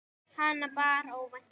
Hana bar óvænt að.